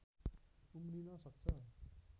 उम्रिन सक्छ